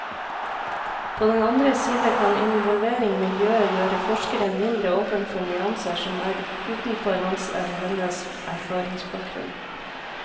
På den andre side kan involvering i miljøet gjøre forskeren mindre åpen for nyanser som er utenfor hans eller hennes erfaringsbakgrunn.